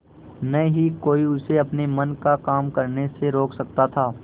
न ही कोई उसे अपने मन का काम करने से रोक सकता था